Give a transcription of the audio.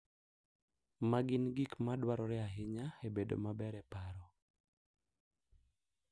Ma gin gik ma dwarore ahinya e bedo maber e paro.